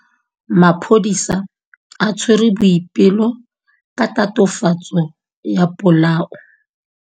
Maphodisa a tshwere Boipelo ka tatofatsô ya polaô.